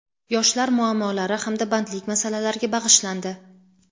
yoshlar muammolari hamda bandlik masalalariga bag‘ishlandi.